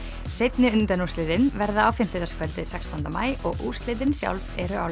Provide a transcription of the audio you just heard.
seinni undanúrslit verða á fimmtudagskvöldið sextánda maí og úrslitin sjálf eru á